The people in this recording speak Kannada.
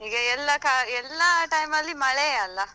ಈಗ ಎಲ್ಲ ಕಾ~ ಎಲ್ಲಾ time ಅಲ್ಲಿ ಮಳೆಯೇ ಅಲ್ಲ?